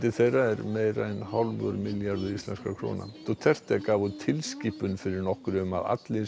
þeirra er meira en hálfur milljarður íslenskra króna Duterte gaf út tilskipun fyrir nokkru um að allir